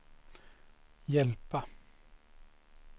hjälpa